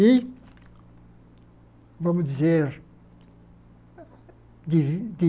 E... vamos dizer... de